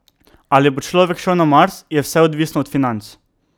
Ali bo človek šel na Mars, je vse odvisno od financ.